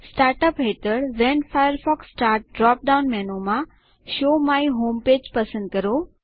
start up હેઠળWhen Firefox starts drop down મેનુમાં show my home page પસંદ કરો